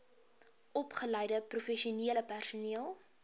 opgeleide professionele personeel